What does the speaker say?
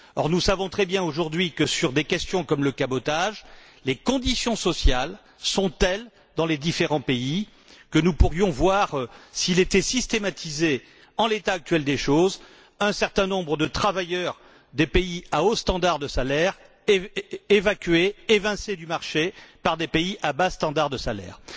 Or, nous savons très bien aujourd'hui que, sur des questions comme le cabotage, les conditions sociales sont telles, dans les différents pays, que, s'il était systématisé, nous pourrions voir, en l'état actuel des choses, un certain nombre de travailleurs des pays à hauts standards de salaires, évacués, évincés du marché, par des pays à bas standards de salaires.